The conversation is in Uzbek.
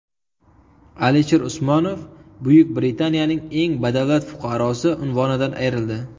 Alisher Usmonov Buyuk Britaniyaning eng badavlat fuqarosi unvonidan ayrildi.